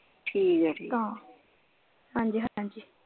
ਠੀਕ ਹੈ ਠੀਕ ਹੈ ਹਾਂਜੀ ਹਾਂਜੀ।